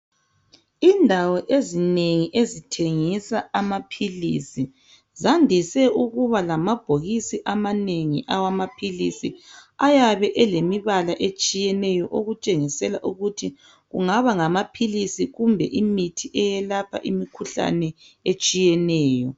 Indawo ezinengi ezithengisa amaphilisi zandise ukuba lamabhokisi amanengi ayabe elemibala etshiyeneyo okutshengisa ukuthi kungaba ngamaphilisi kumbe imithi eyelapha okutshiyeneyo.